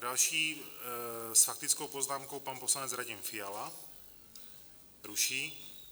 Další s faktickou poznámkou, pan poslanec Radim Fiala - ruší.